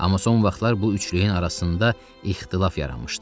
Amma son vaxtlar bu üçlüyün arasında ixtilaf yaranmışdı.